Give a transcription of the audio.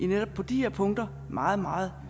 netop de her punkter meget meget